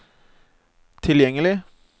tilgjengelig